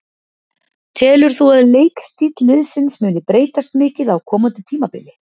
Telur þú að leikstíll liðsins muni breytast mikið á komandi tímabili?